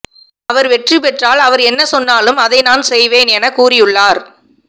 அவர் வெற்றி பெற்றால் அவர் என்ன சொன்னாலும் அதை நான் செய்வேன் என கூறி உள்ளார்